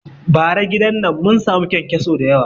Bara gidan nan mun sami kyankyasu dayawa